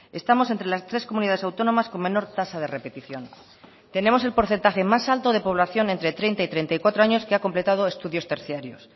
estamos entre las tres comunidades autónomas con menor tasa de repetición tenemos el porcentaje más alto de población entre treinta y treinta y cuatro años que ha completado estudios terciarios